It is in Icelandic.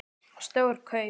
Stór kaup?